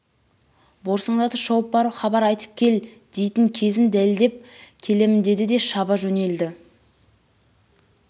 борсыңдатып шауып барып хабар айтып кел дейтін кезін дәлдеп келемін деді де шаба жөнелді